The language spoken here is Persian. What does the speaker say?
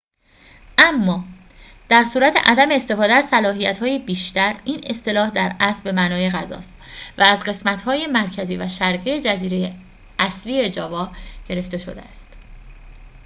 اما در صورت عدم استفاده از صلاحیت‌های بیشتر این اصطلاح در اصل به معنای غذا است و از قسمت های مرکزی و شرقی جزیره اصلی جاوا گرفته شده است